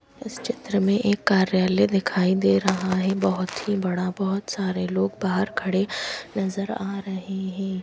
इस चित्र में एक कार्यालय दिखाई दे रहा है। बहोत ही बड़ा बहोत सारे लोग बाहर खड़े नजर आ रहे हैं।